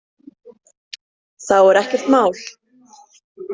Þá er ekkert mál.